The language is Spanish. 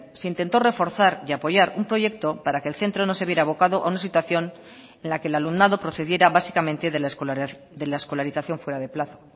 se intentó reforzar y apoyar un proyecto para que el centro no se viera avocado a una situación en la que el alumnado procediera básicamente de la escolarización fuera de plazo